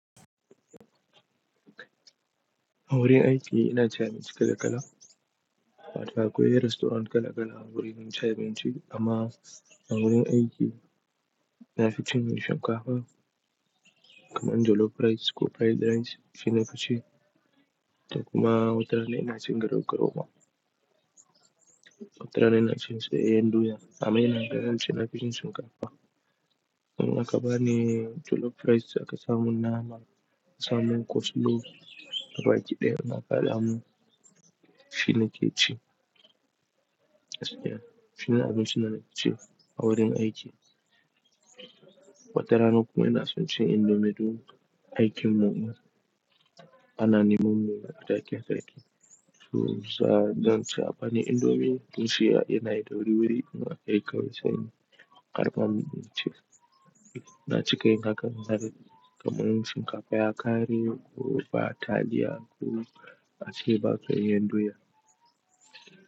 A wurin aiki ina ci abinci kala kala. Wato akwai restaurant kala kala a wurin mun ci abinci amma a wurin aiki na fi cin mun shinkafa kaman jollof rice ko fried rice shine na fi ci. Da kuma watarana ina cin garau garau ma. Watarana ina cin soyayyen doya amma ina ganin shine na fi cin shinkafa. In a ka bani jollof rice aka samun nama, ka samu coleslaw, gaba aiki daya mun a ka alhamu shine ke ci. Shine abinci na nake ci a wurin aiki. Watarana kuma ina son cin indomie duk aikin mun ma ana ni mun miya da take take. To sa don ci abani indomie tun siya yana da wuri wuri kuma kai ka wuce ni karba mun ci. Na ci kai na kan zan yi kaman shinkafa, akari ko fa taliya ko asiba kai henduya.